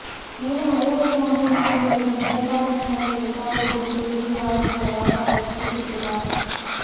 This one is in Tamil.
மேலும் ஐரோப்பிய ஓன்றிய நாடுகளுடன் உடன்பாடொன்றை எட்டுவது குறித்து உறுதியாகவுள்ளதாக அவர் குறிப்பிட்டுள்ளார்